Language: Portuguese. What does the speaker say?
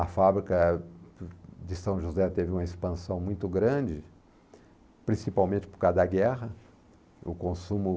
A fábrica eh, de São José teve uma expansão muito grande, principalmente por causa da guerra. O consumo